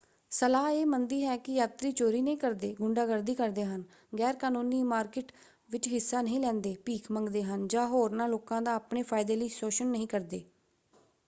ਸਲਾਹ ਇਹ ਮੰਨਦੀ ਹੈ ਕਿ ਯਾਤਰੀ ਚੋਰੀ ਨਹੀਂ ਕਰਦੇ ਗੁੰਡਾਗਰਦੀ ਕਰਦੇ ਹਨ ਗੈਰ ਕਾਨੂੰਨੀ ਮਾਰਕੀਟ ਵਿਚ ਹਿੱਸਾ ਨਹੀਂ ਲੈਂਦੇ ਭੀਖ ਮੰਗਦੇ ਹਨ ਜਾਂ ਹੋਰਨਾਂ ਲੋਕਾਂ ਦਾ ਆਪਣੇ ਫਾਇਦੇ ਲਈ ਸ਼ੋਸ਼ਣ ਨਹੀਂ ਕਰਦੇ